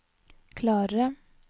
klarere